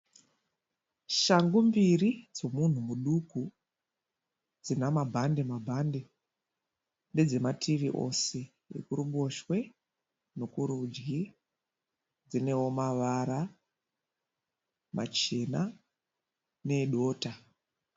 Shangu mbiri dzomunhu muduku dzinamabhande-mabhande. Ndedzemativi ose yekuruboshwe nekurudyi. Dzinewo mavara machena needota.